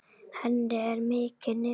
Henni er mikið niðri fyrir.